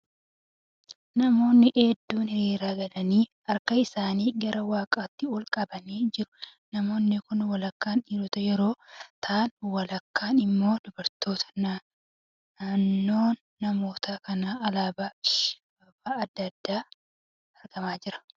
Namooni hedduun hiriira galanii harka isaanii gara waaqaatti ol qabanii jiru. Namoonni kun walakkaan dhiirota yeroo ta'aan walakkaan immoo dubartoota. Naannoo namoota kanaa alaabaa fi abaaboon adda adda argamaa jiru.